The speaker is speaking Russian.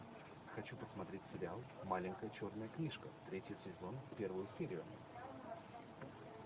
хочу посмотреть сериал маленькая черная книжка третий сезон первую серию